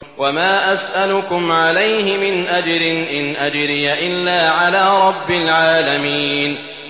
وَمَا أَسْأَلُكُمْ عَلَيْهِ مِنْ أَجْرٍ ۖ إِنْ أَجْرِيَ إِلَّا عَلَىٰ رَبِّ الْعَالَمِينَ